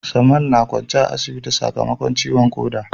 Samal na kwance a asibiti sakamakon ciwon koda